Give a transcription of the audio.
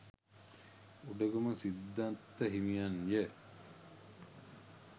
උඩගම සිද්ධත්ත හිමියන් ය